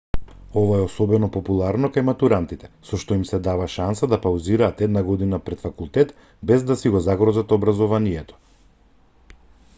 ова е особено популарно кај матурантите со што им се дава шанса да паузираат една година пред факултет без да си го загрозат образованието